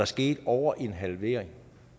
sket over en halvering